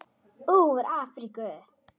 Úr Afríku!